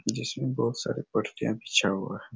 जिसमे बोहोत सारे परचे बिछा हुआ है।